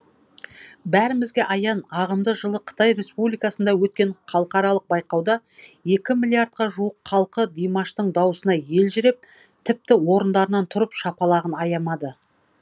бәрімізге аян жылы қытай республикасында өткен халықаралық байқауда екі миллиардқа жуық халқы димаштың дауысына елжіреп тіпті орындарынан тұрып шапалағын аямады